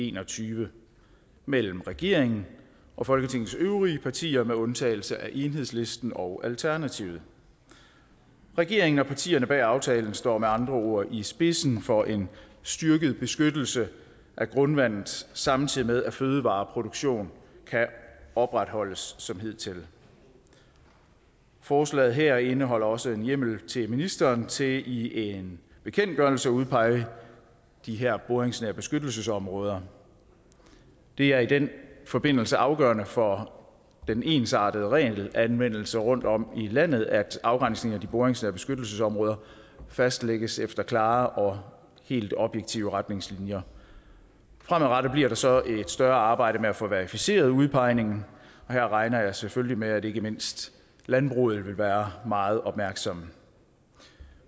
en og tyve mellem regeringen og folketingets øvrige partier med undtagelse af enhedslisten og alternativet regeringen og partierne bag aftalen står med andre ord i spidsen for en styrket beskyttelse af grundvandet samtidig med at fødevareproduktion kan opretholdes som hidtil forslaget her indeholder også en hjemmel til ministeren til i en bekendtgørelse at udpege de her boringsnære beskyttelsesområder det er i den forbindelse afgørende for den ensartede regelanvendelse rundtom i landet at afgrænsning af boringsnære beskyttelsesområder fastlægges efter klare og helt objektive retningslinjer fremadrettet bliver der så et større arbejde med at få verificeret udpegningen her regner jeg selvfølgelig med at man ikke mindst i landbruget vil være meget opmærksom